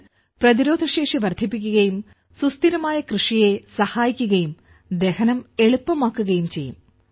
ഇത് പ്രതിരോധശേഷി വർദ്ധിപ്പിക്കുകയും സുസ്ഥിരമായ കൃഷിയെ സഹായിക്കുകയും ദഹനം എളുപ്പമാക്കുകയും ചെയ്യും